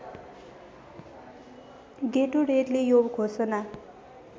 गेटोरेडले यो घोषणा